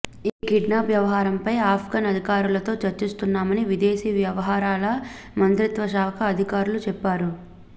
ఈ కిడ్నాప్ వ్యవహారంపై అఫ్ఘాన్ అధికారులతో చర్చిస్తున్నామని విదేశీ వ్యవహారాల మంత్రిత్వశాఖ అధికారులు చెప్పారు